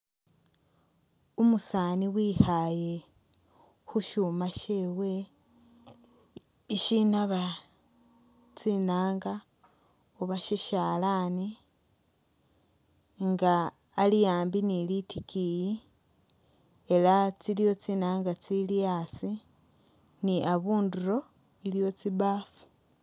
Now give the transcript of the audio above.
Umusaani wikhaaye khu shuuma shewe ishinaaba tsinaanga oba sisyalaani nga ali ambi ni litikiiyi ela tsiliwo tsinaanga tsili asi ni abundulo iliwo tsibaafu.